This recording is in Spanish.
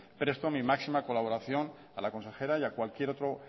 presto mi máxima colaboración a la consejera y a cualquier otro